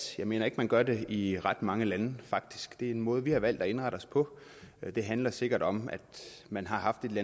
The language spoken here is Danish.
jeg mener ikke at man gør det i ret mange lande faktisk det er en måde vi har valgt at indrette os på det handler sikkert om at man har haft et